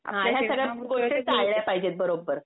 ह्या सगळ्या गोष्टी टाळल्या पाहिजेत बरोबर.